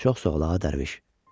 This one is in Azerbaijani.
Çox sağ ol ağa Dərviş.